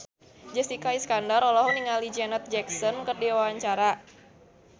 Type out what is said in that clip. Jessica Iskandar olohok ningali Janet Jackson keur diwawancara